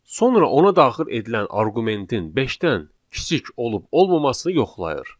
Sonra ona daxil edilən arqumentin beşdən kiçik olub-olmamasını yoxlayır.